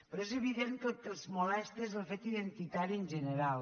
però és evident que el que els molesta és el fet identitari en general